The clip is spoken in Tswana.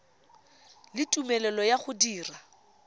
le tumelelo ya go dira